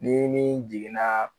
Ni ni jiginna